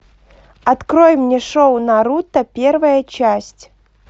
открой мне шоу наруто первая часть